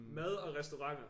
Mad og restauranter